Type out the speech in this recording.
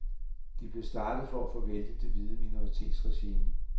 De blev startet for at få væltet det hvide minoritetsregime.